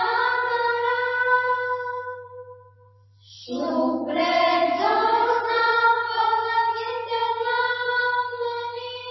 शस्यशामलां मातरम् वन्दे मातरम्